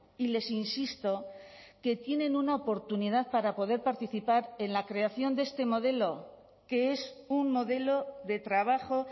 y les insisto que tienen una oportunidad para poder participar en la creación de este modelo que es un modelo de trabajo